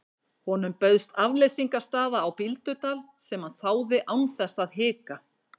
Honum bauðst afleysingarstaða á Bíldudal sem hann þáði án þess að hika.